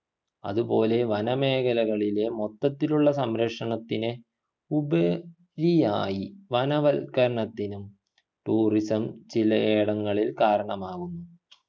അതുപോലെ വനമേഖലകളിലെ മൊത്തത്തിലുള്ള സംരക്ഷണത്തിനെ ഉപ രിയായി വനവൽക്കരണത്തിനും tourism ചിലയിടങ്ങളിൽ കാരണമാകുന്നു